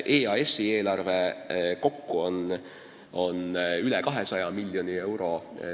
EAS-i eelarve kokku on üle 200 miljoni euro.